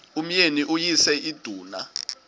umyeni uyise iduna